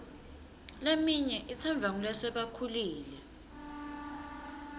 leminye itsandvwa ngulasebakhulile